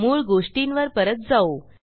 मूळ गोष्टींवर परत जाऊ